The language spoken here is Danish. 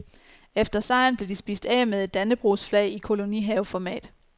Efter sejren blev de spist af med et dannebrogsflag i kolonihaveformat.